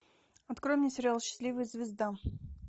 открой мне сериал счастливая звезда